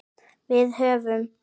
Við höfðum